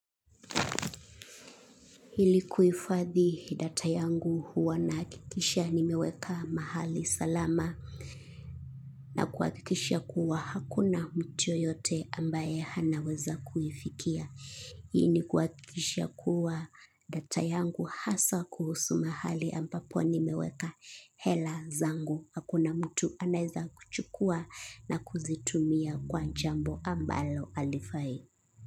Ili kuhifadhi data yangu huwa nahakikisha nimeweka mahali salama. Kuhakikisha kuwa hakuna mtu yeyote ambaye anaweza kuifikia. Hii ni kuhakikisha kuwa data yangu hasa kuhusu mahali ambapo nimeweka hela zangu. Hakuna mtu anaeza kuchukua na kuzitumia kwa jambo ambalo jalifai.